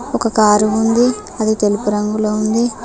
ఒక కారు ఉంది అది తెలుపు రంగులో ఉంది.